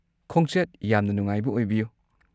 ꯈꯣꯡꯆꯠ ꯌꯥꯝꯅ ꯅꯨꯡꯉꯥꯏꯕ ꯑꯣꯏꯕꯤꯌꯨ꯫